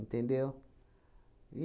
Entendeu?